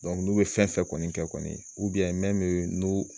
n'u bɛ fɛn fɛn kɔni kɛ kɔni n'u